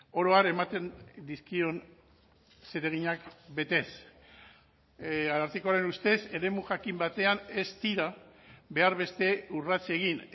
oro har ematen dizkion zereginak betez arartekoaren ustez eremu jakin batean ez dira behar beste urrats egin